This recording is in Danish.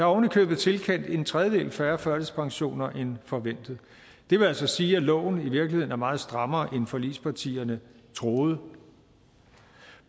oven i købet tilkendt en tredjedel færre førtidspensioner end forventet det vil altså sige at loven i virkeligheden er meget strammere end forligspartierne troede